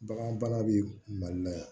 Bagan bana bɛ mali la yan